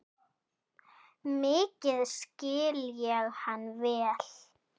Mikið skil ég hann vel.